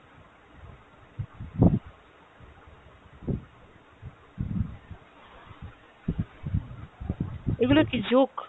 এগুলো কি joke?